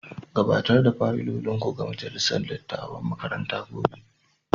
Gabatar da fayilolinku ga majalisar dattawan makaranta gobe.